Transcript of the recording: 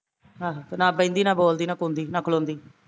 ਆਹੋ ਤੇ ਨਾ ਬਹਿੰਦੀ, ਨਾ ਬੋਲਦੀ, ਨਾ ਕੁੰਦੀ, ਨਾ ਖਲੋਦੀ